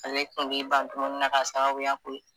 Ale kun b'i ban dumuni na k'a sababuya k'o ye